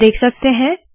आप देख सकते है